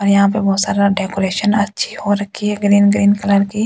और यहां पे बहुत सारा डेकोरेशन अच्छी हो रखी है ग्रीन ग्रीन कलर की--